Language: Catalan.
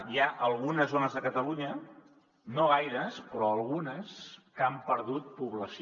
hi ha algunes zones de catalunya no gaires però algunes que han perdut població